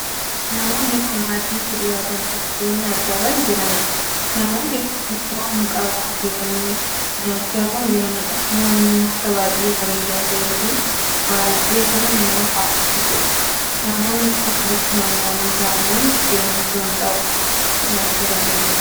Namoonni kun maaddiitti dhiyaatanii buddeen nyaachaa kan jiraniidha. namoonni kun ittoo hanqaaquu hojjetatanii nyaachaa kan jiraniidha. nyaanni nyaata baay'ee bareedaa tahee fi baay'ee kan nama hawwisiisuudha. namoonni kun walitti naanna'anii taa'anii buddeen ittoo hanqaaquu lukkuutti nyaachaa kan jiraniidha.